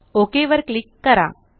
okay वर click करा